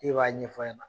E b'a ɲɛfɔ ɲɛna